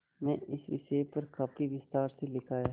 में इस विषय पर काफी विस्तार से लिखा है